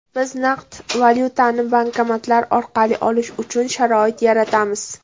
Biz naqd valyutani bankomatlar orqali olish uchun sharoit yaratamiz.